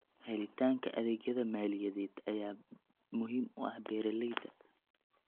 Helitaanka adeegyada maaliyadeed ayaa muhiim u ah beeralayda.